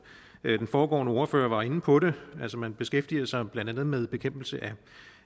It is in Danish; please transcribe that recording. den foregående ordfører var inde på det altså man beskæftiger sig blandt andet med bekæmpelse